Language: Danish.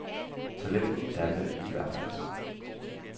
Talentet er der i hvert fald.